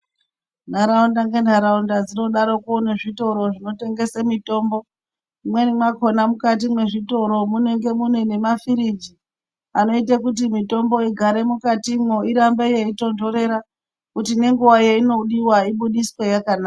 Ntharaunda ngentharaunda dzinodaroko ngezvitoro zvinotengesa mitombo mumweni makona mukati mwezvitoro munenge mune nemafiriji anoite kuti mitombo igare mukatimwo irambe yeitondorera kuti nenguwa yeinodiwa ibudiswe yakanaka.